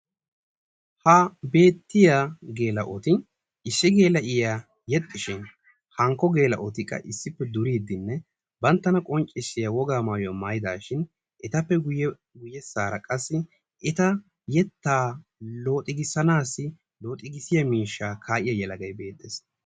ha beettiya gels''oti issi gela''iya yeexxishin hankko gela''otikka issippe duridi banttana qonccissiya wogaa maayidashin etappe guyyeesara qassi etaa yetta looxikisanassi loxxikissiyaa miishsha kaa'iyaa yelagay beetttes.